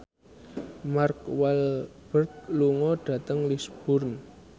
Mark Walberg lunga dhateng Lisburn